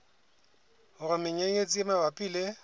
hore menyenyetsi e mabapi le